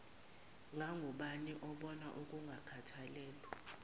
ngangubani obona ukungakhathalelwa